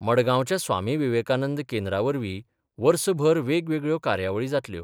मडगांवच्या स्वामी विवेकानंद केंद्रावरवीं वर्सभर वेगवेगळ्यो कार्यावळी जातल्यो.